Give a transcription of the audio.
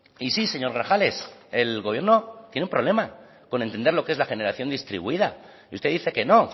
y sí señor grajales el gobierno tiene un problema con entender lo que es la generación distribuida y usted dice que no